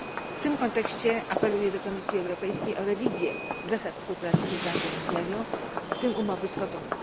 W tym kontekście apeluję do Komisji Europejskiej o rewizję zasad współpracy z Ugandą i Nigerią, w tym umowy z Kotonu.